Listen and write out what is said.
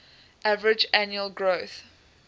average annual growth